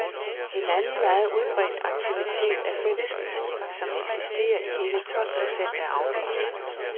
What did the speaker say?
En anden meget udbredt aktivitet er fællesspisning, som eksisterer i hele tolv procent af afdelingerne.